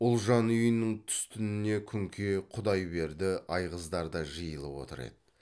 ұлжан үйінің түстініне күнке құдайберді айғыздар да жиылып отыр еді